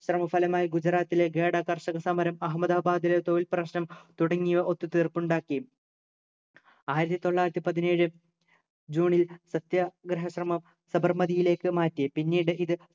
ശ്രമഫലമായി ഗുജറാത്തിലെ ഖേദ കർഷക സമരം അഹമ്മദാബാദിലെ തൊഴിൽ പ്രശ്നം തുടങ്ങിയവ ഒത്തു തീർപ്പുണ്ടാക്കി ആയിരത്തി തൊള്ളായിരത്തിപതിനേഴു ജൂണിൽ സത്യാഗ്രഹാ ശ്രമം സബർമതിയിലേക്ക് മാറ്റി പിന്നീട് ഇത്